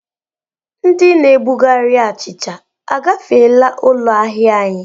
Ndị na-ebugharị achịcha agafeela ụlọ ahịa anyị?